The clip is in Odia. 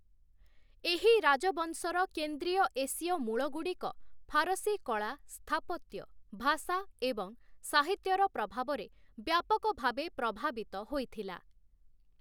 ଏହି ରାଜବଂଶର କେନ୍ଦ୍ରୀୟ ଏସୀୟ ମୂଳଗୁଡ଼ିକ ଫାରସୀ କଳା, ସ୍ଥାପତ୍ୟ, ଭାଷା ଏବଂ ସାହିତ୍ୟର ପ୍ରଭାବରେ ବ୍ୟାପକ ଭାବେ ପ୍ରଭାବିତ ହୋଇଥିଲା ।